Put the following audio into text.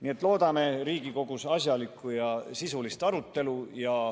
Nii et loodame Riigikogus asjalikku ja sisulist arutelu.